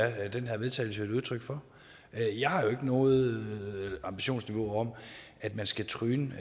er den her vedtagelse jo et udtryk for jeg har jo ikke nogen ambition om at man skal tryne